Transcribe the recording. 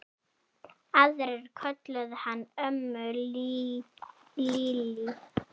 Aðrir kölluðu hana ömmu Lillý.